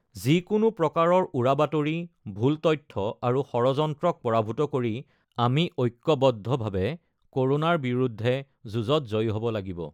যিকোনো প্ৰকাৰৰ উৰা বাতৰি, ভুল তথ্য আৰু ষড়যন্ত্ৰক পৰাভূত কৰি আমি ঐক্যবদ্ধভাৱে ক'ৰোনাৰ বিৰুদ্ধে যুঁজত জয়ী হ'ব লাগিব